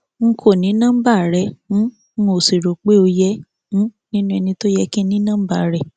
n kò ní nọmba rẹ um ń sì rò pé ó yẹ um nínú ẹni tó yẹ kí n ní nọmba rẹ